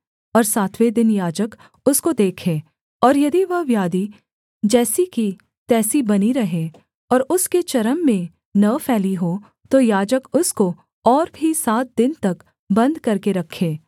और सातवें दिन याजक उसको देखे और यदि वह व्याधि जैसी की तैसी बनी रहे और उसके चर्म में न फैली हो तो याजक उसको और भी सात दिन तक बन्द करके रखे